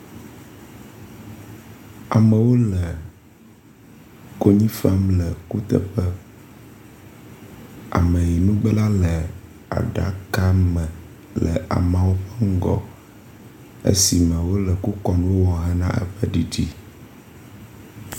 Amewo le konyi fam le kuteƒe, ameyinugbe la le aɖaka me le ameawo ƒe ŋgɔ esime wole kukɔnuwo wɔ he na eƒe ɖiɖi.